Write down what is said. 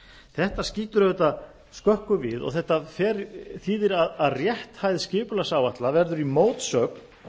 þetta skýtur auðvitað skökku við og þetta þýðir að rétthæð skipulagsáætlana verður í mótsögn